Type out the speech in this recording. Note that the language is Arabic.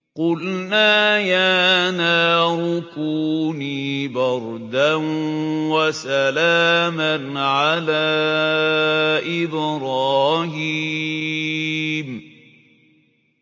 قُلْنَا يَا نَارُ كُونِي بَرْدًا وَسَلَامًا عَلَىٰ إِبْرَاهِيمَ